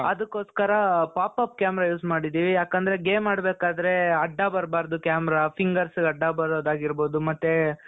ಅದಕ್ಕೋಸ್ಕರ pop - up camera use ಮಾಡಿದ್ದೀವಿ ಯಾಕೆಂದ್ರೆ game ಆಡಬೇಕಾದರೆ ಅಡ್ಡ ಬರಬಾರದು camera fingersಗೆ ಅಡ್ಡ ಬರುವುದಾಗಿರಬಹುದು ಮತ್ತೆ .